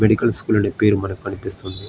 Medical school అనే పేరు మనకి కనిపిస్తుంది.